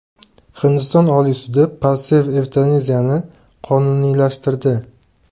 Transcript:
Hindiston Oliy sudi passiv evtanaziyani qonuniylashtirdi.